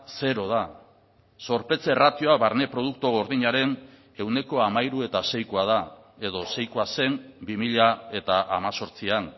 zero da zorpetze ratioa barne produktu gordinaren ehuneko hamairu eta seikoa da edo seikoa zen bi mila hemezortzian